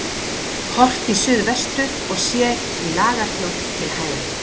Horft í suðvestur og sér í Lagarfljót til hægri.